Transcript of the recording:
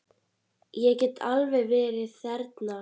Ég get alveg verið þerna.